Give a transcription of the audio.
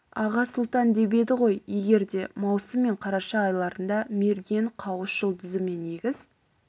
аға сұлтан деп еді ғой егерде маусым мен қараша айларында мерген қауыс жұлдызы мен егіз